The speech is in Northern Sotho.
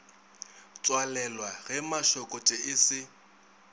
tswalelwa ge mašokotšo e se